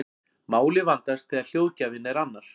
Málið vandast þegar hljóðgjafinn er annar.